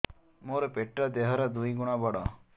ମୋର ପେଟ ଦେହ ର ଦୁଇ ଗୁଣ ବଡ